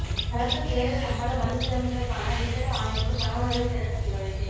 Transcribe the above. அரச சேவை சம்பள மறுசீரமைப்பிற்கான விசேட ஆணைக்குழு தகவல்களைத் திரட்ட நடவடிக்கை